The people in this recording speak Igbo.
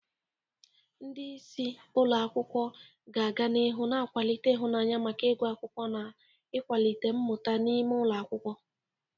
Ndị isi ụlọ akwụkwọ ga-aga n'ihu na-akwalite ịhụnanya maka ịgụ akwukwo na ịkwalite mmuta n'ime ụlọ akwụkwọ.